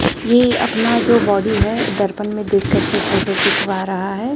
ये अपना जो बॉडी है दर्पण में देख करके फोटो खिंचवा रहा है।